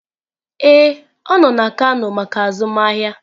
Ee, ọ nọ na kano maka azụmahịa